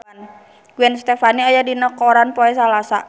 Gwen Stefani aya dina koran poe Salasa